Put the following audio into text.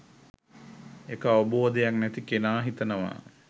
ඒක අවබෝධයක් නැති කෙනා හිතනවා